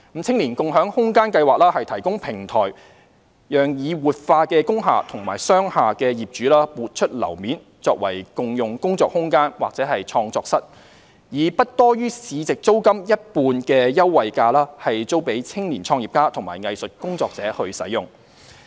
"青年共享空間計劃"提供平台，讓已活化工廈和商廈的業主撥出樓面作為共用工作空間或創作室，以不多於市值租金一半的優惠價租予青年創業家和藝術工作者使用。